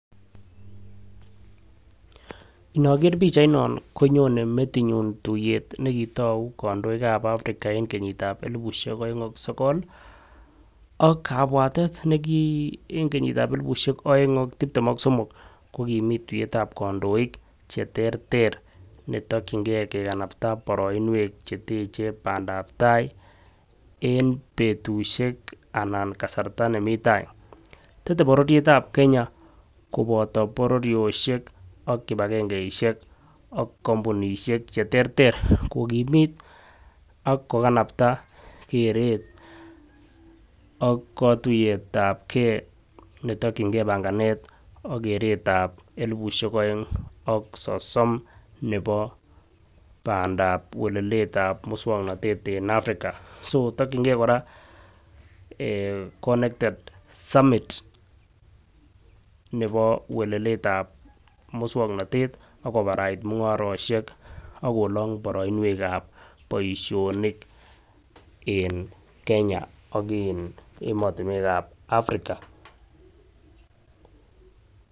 Inoker pichainon konyone metinyun tuyet netou kondoi ak Africa en kenyitab elibushek oeng ak sokol, ak kabwatet nekii en kinyitab elibushek oeng ak tiptem ak somok ko komii tiyetab kondoik cheterter netokingee kekanapta boroinwek cheteche pandap tai en betushek ana kasarta nemii tai. Tete bororietab Kenya koboto bororoshek ak kipakengeishek ak kompunishek cheterter kokimit ak kokanapta keret ak kotuyetab gee netokingee panganet ak keretab elibushek oeng ak sisom nebo pandap weleletab muswoknotet en Africa. So tokingee Koraa eeh connected summit nebo weleletab muswoknotet ak kobarait. Mungaroshek akolong boroinwek ab boishonik en Kenya ak in emotunwekab African.